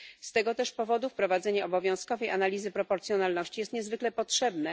Z tego też powodu wprowadzenie obowiązkowej analizy proporcjonalności jest niezwykle potrzebne.